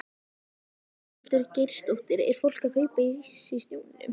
Ingveldur Geirsdóttir: Er fólk að kaupa ís í snjónum?